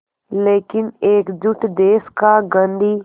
लेकिन एकजुट देश का गांधी